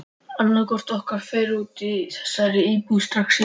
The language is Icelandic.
Annaðhvort okkar fer út úr þessari íbúð strax í dag!